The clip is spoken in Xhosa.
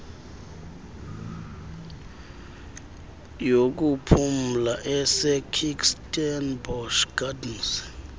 yokuphumla esekirstenbosch gardens